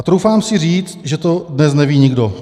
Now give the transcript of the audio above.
"A troufám si říct, že to dnes neví nikdo."